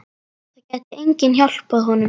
Það gæti enginn hjálpað honum.